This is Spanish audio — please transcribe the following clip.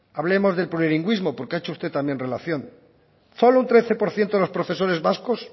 hablemos del plurilingüismo porque ha hecho usted también relación solo un trece por ciento de los profesores vascos